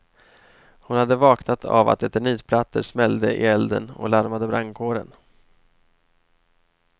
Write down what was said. Hon hade vaknat av att eternitplattor smällde i elden och larmade brandkåren.